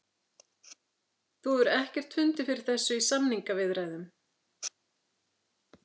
Þú hefur ekkert fundið fyrir þessu í samningaviðræðum?